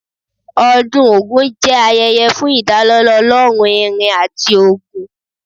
Ọdún Ògún jẹ́ ayẹyẹ fún ìdálọ́lá ọlọ́run irin àti ogun.